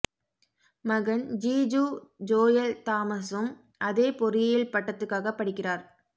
மகன் ஜீஜூ ஜோயல் தாமஸும் அதே பொறியியல் பட்டத்துக்காகப் படிக்கிறார்